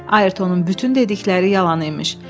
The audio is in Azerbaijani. Ayrtonun bütün dedikləri yalan imiş.